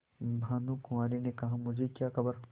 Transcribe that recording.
भानुकुँवरि ने कहामुझे क्या खबर